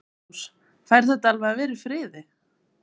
Magnús: Fær þetta alveg að vera í friði?